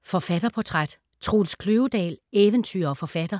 Forfatterportræt: Troels Kløvedal - eventyrer og forfatter